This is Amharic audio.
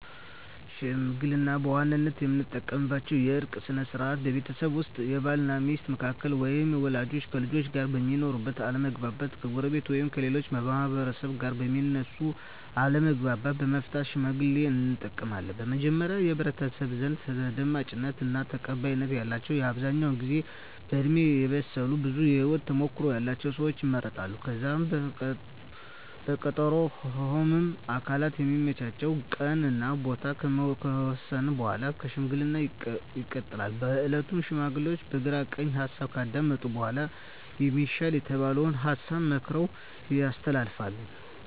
ሽምግልና በዋናነት የምንጠቀምበት የእርቅ ስነ ስርዓት ነው። ቤተሰብ ውስጥ በባል እና ሚስት መካከል ወይም ወላጆች ከልጆቻቸው ጋር በሚኖር አለመግባባት፣ ከጎረቤት ወይም ከሌላ ማህበረሰብ ጋር በሚነሱ አለመግባባቶች ለመፍታት ሽምግልናን እንጠቀማለን። በመጀመሪያ በህብረተሰቡ ዘንድ ተደማጭነት እና ተቀባይነት ያላቸው በአብዛኛው ጊዜ በእድሜ የበሰሉ ብዙ የህወት ተሞክሮ ያለቸው ሰወች ይመረጣሉ። ከዛም በቀጠሮ ሁምም አካላት የሚመቻቸውን ቀን እና ቦታ ከተወሰነ በኃላ ለሽምግልና ይቀመጣሉ። በእለቱም ሽማግሌዎቹ የግራ ቀኝ ሀሳብ ካዳመጡ በኃላ የሚሻል የተባለውን ሀሳብ መክረው ያስተላልፋሉ።